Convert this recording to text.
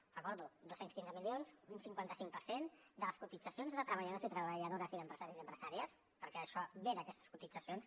ho recordo dos cents i quinze milions un cinquanta cinc per cent de les cotitzacions de treballadors i treballadores i d’empresaris i empresàries perquè això ve d’aquestes cotitzacions